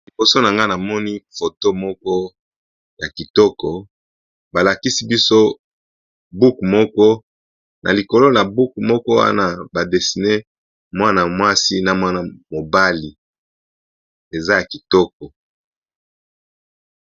liboso na nga namoni foto moko ya kitoko balakisi biso buku moko na likolo na buku moko wana badesine mwana mwasi na mwana mobali eza ya kitoko